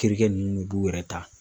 Terikɛ nunnu b'u yɛrɛ ta.